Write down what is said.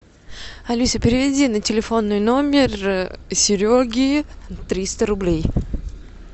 алиса переведи на телефонный номер сереги триста рублей